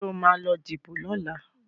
Sọ ma lọ díbò lọ́la?